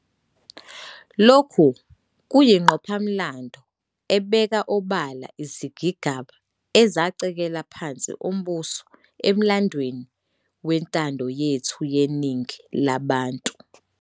Lokhu kuyingqophamlando ebeka obala izigigaba ezacekela phansi umbuso emlandweni wentando yethu yeningi labantu.